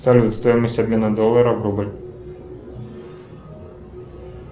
салют стоимость обмена доллара в рубль